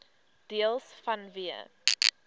deels vanweë